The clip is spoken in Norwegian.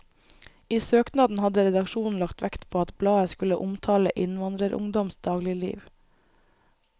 I søknaden hadde redaksjonen lagt vekt på at bladet skulle omtale innvandrerungdoms dagligliv.